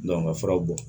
ka furaw bɔ